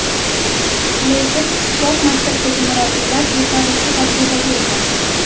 Lekin sport maktabidagi murabbiylar yetarlicha tajribaga ega.